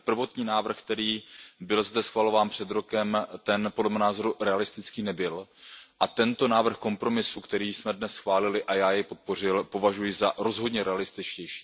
Ten prvotní návrh, který zde byl schvalován před rokem, ten podle mého názoru realistický nebyl a tento návrh kompromisu, který jsme dnes schválili a který jsem podpořil, považuji za rozhodně realističtější.